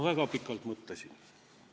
" Väga pikalt mõtlesin.